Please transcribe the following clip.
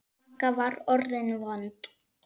Magga var orðin vond.